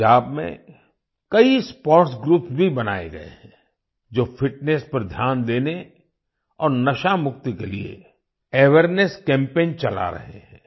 पंजाब में कई sports groups भी बनाए गए हैं जो फिटनेस पर ध्यान देने और नशा मुक्ति के लिए अवेयरनेस कैम्पेन चला रहे हैं